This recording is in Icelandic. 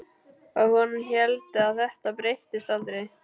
Og hún héldi að þetta breyttist aldrei.